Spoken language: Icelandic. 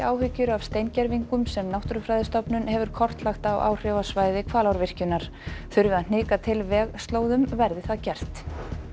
áhyggjur af steingervingum sem Náttúrufræðistofnun hefur kortlagt á áhrifasvæði Hvalárvirkjunar þurfi að hnika til vegslóðum verði það gert